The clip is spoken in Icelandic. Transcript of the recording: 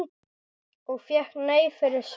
Og fékk nei fyrir svar?